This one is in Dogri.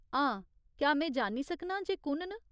हां, क्या में जानी सकनां जे एह् कु'न न ?